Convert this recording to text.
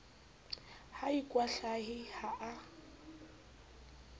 ha a ikwahlahe ha a